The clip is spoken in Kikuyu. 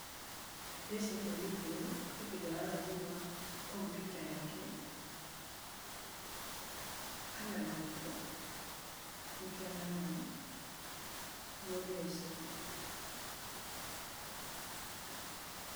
Ndĩreciria mũirĩtu ũyũ, kũri kĩndũ ararora thiĩnĩ computer yake kana laptop, nĩkĩo ararora. Nĩgũo ndĩreciria.